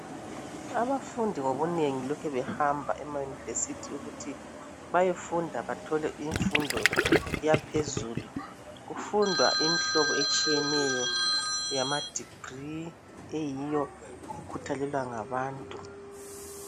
Abafundi ngobunengi lokhe behamba ema university ukuthi bayefunda bathole imfundo yaphezulu . Kufundwa Imihlobo etshiyeneyo yama degree eyiyo ekhuthalelwa ngabantu .